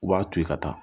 U b'a to yen ka taa